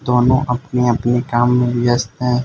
दोनों अपने अपने काम में व्यस्त है।